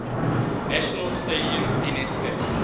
national stadium nsk